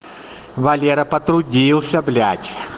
валера потрудился блядь